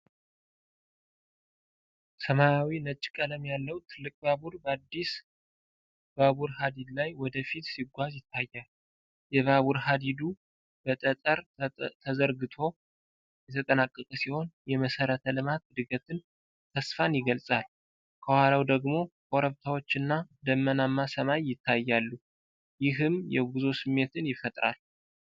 ሰማያዊና ነጭ ቀለም ያለው ትልቅ ባቡር በአዲስ ባቡር ሐዲድ ላይ ወደ ፊት ሲጓዝ ይታያል። የባቡር ሐዲዱ በጠጠር ተዘርግቶ የተጠናቀቀ ሲሆን፣ የመሠረተ ልማት ዕድገት ተስፋን ይገልጻል። ከኋላው ደግሞ ኮረብታዎችና ደመናማ ሰማይ ይታያሉ፤ ይህም የጉዞ ስሜትን ይፈጥራል።